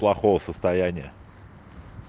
плохого состояния